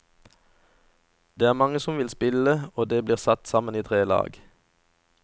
Det er mange som vil spille, og det blir satt sammen tre lag.